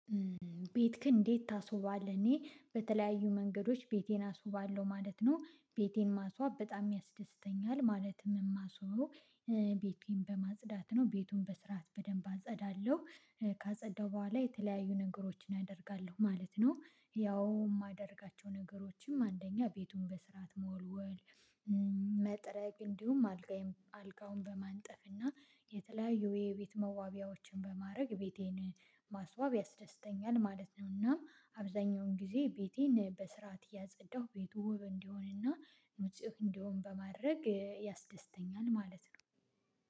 ቤትክን እንዴት ታስውባለህ? እኔ በተለያዩ መንገዶች ቤቴን አስውባለሁ ማለት ነው ቤቴን ማስዋብ በጣም ያስደስተኛል ማለትም እማስውበው ቤቴን በማጽዳት ነው። ቤቱን በስርዓት በደንብ አጸዳለሁ ካጸዳሁ በኋላ የተለያዩ ነገሮችን አደርጋለሁ ማለት ነው። ያው የማደርጋቸው ነገሮችም አንደኛ ቤቱን በስርዓት መወልወል። መጥረግ እንዲሁም አልጋዬን አልጋውን በማንጠፍ እና የተለያዩ የቤት መዋቢያዎችን በማድረግ ቤቴን ማስዋብ ያስደስተኛል ማለት ነው። እና አብዛኛውን ጊዜ ቤቴን በስርዓት እያጸዳሁ ቤቱ ውብ እንዲሆንና ንጹህ እንዲሆን በማድረግ ያስደስተኛል ማለት ነው።